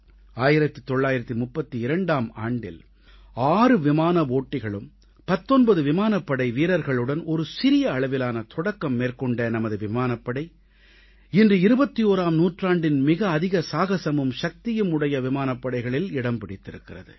1932ஆம் ஆண்டில் 6 விமான ஓட்டிகளும் 19 விமானப்படை வீரர்களுடன் ஒரு சிறிய அளவிலான தொடக்கம் மேற்கொண்ட நமது விமானப்படை இன்று 21ஆம் நூற்றாண்டின் மிக அதிக சாகஸமும் சக்தியும் உடைய விமானப்படைகளில் இடம் பிடித்திருக்கிறது